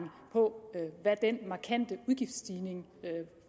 på hvad den markante udgiftsstigning